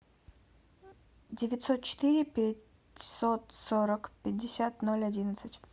девятьсот четыре пятьсот сорок пятьдесят ноль одиннадцать